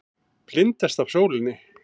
Blindast af sólinni.